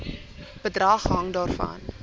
bedrag hang daarvan